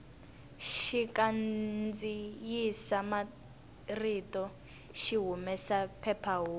xikandziyisa marito xi humesa phephahungu